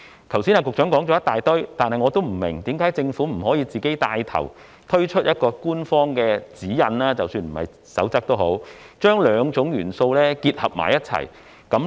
局長剛才說了一大堆話，但我不明白的是，為何政府不可以帶頭推出一份官方指引——即使不是守則也好——將兩種元素結合起來？